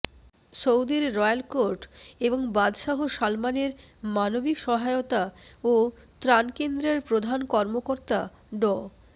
সৌদির royal court এবং বাদশাহ সালমানের মানবিক সহায়তা ও ত্রানকেন্দ্রের প্রধান কর্মকর্তা ড